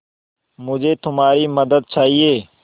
मुझे तुम्हारी मदद चाहिये